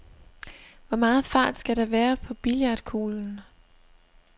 Hvor meget fart skal der være på billiardkuglen?